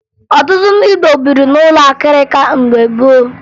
Ọtụtụ ndị Igbo biri n'ụlọ akịrịka mgbe gboo